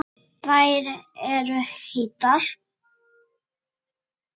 Þær eru heitar.